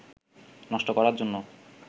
নষ্ট করার জন্য